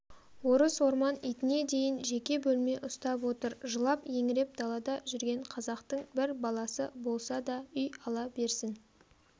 орыс-орман итіне дейін жеке бөлме ұстап отыр жылап-еңіреп далада жүрген қазақтың бір баласы болса да үй ала берсін